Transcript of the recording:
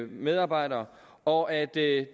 medarbejdere og at det